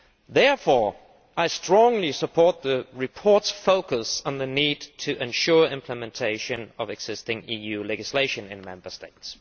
Therefore I strongly support the report's focus on the need to ensure implementation of existing EU legislation in the Member States.